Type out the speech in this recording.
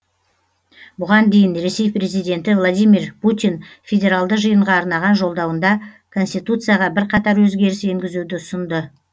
бұған дейін ресей президенті владимир путин федералды жиынға арнаған жолдауында конституцияға бірқатар өзгеріс енгезуді ұсынды